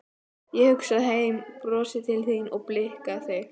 Ég hugsa heim, brosi til þín og blikka þig.